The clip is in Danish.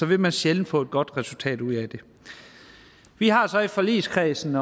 vil man sjældent få et godt resultat ud af det vi har så i forligskredsen